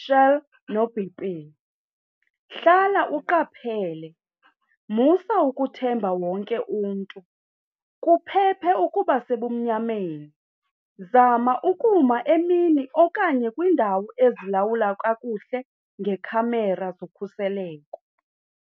Shell noB_P. Hlala uqaphele, musa ukuthemba wonke umntu, kuphephe ukuba sebumnyameni, zama ukuma emini okanye kwindawo ezilawula kakuhle ngekhamera zokhuseleko.